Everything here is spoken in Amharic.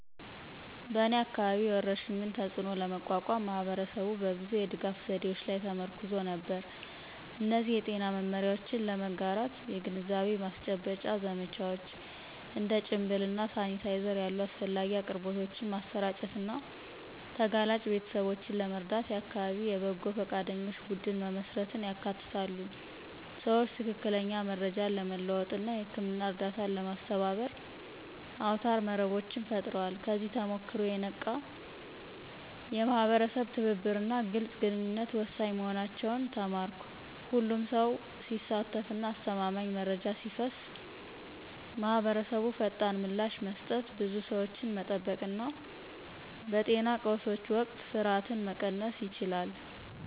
በእኔ አካባቢ፣ የወረርሽኙን ተፅእኖ ለመቋቋም ማህበረሰቡ በብዙ የድጋፍ ዘዴዎች ላይ ተመርኩዞ ነበር። እነዚህ የጤና መመሪያዎችን ለመጋራት የግንዛቤ ማስጨበጫ ዘመቻዎች፣ እንደ ጭንብል እና ሳኒታይዘር ያሉ አስፈላጊ አቅርቦቶችን ማሰራጨት እና ተጋላጭ ቤተሰቦችን ለመርዳት የአካባቢ የበጎ ፈቃደኞች ቡድን መመስረትን ያካትታሉ። ሰዎች ትክክለኛ መረጃን ለመለዋወጥ እና የህክምና እርዳታን ለማስተባበር አውታረ መረቦችን ፈጥረዋል። ከዚህ ተሞክሮ፣ የነቃ የማህበረሰብ ትብብር እና ግልጽ ግንኙነት ወሳኝ መሆናቸውን ተማርኩ። ሁሉም ሰው ሲሳተፍ እና አስተማማኝ መረጃ ሲፈስ ማህበረሰቡ ፈጣን ምላሽ መስጠት፣ ብዙ ሰዎችን መጠበቅ እና በጤና ቀውሶች ወቅት ፍርሃትን መቀነስ ይችላል።